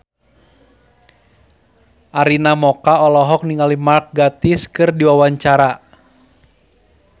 Arina Mocca olohok ningali Mark Gatiss keur diwawancara